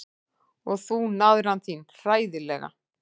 Og þú, naðran þín, hræðilega.